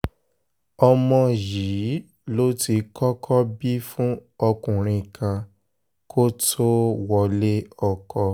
ọmọ yìí ló ti kọ́kọ́ bí fún ọkùnrin kan kó tóó wọlé ọkọ